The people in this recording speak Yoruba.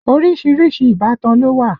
Orísìírísìí ìbátan ló wà